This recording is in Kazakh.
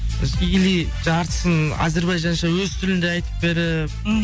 или жартысын әзірбайжанша өз тілінде айтып беріп ммм